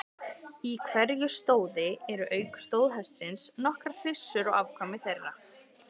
Í hverju stóði eru auk stóðhestsins nokkrar hryssur og afkvæmi þeirra.